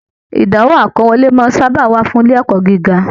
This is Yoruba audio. Ìdánwò akọwọ̀le sábà máa n wà fún ilé ẹ̀kọ́ gíga.